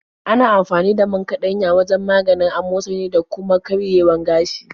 Ana amfani da man kaɗanya wajen maganin amosali da kuma karerayewar gashi.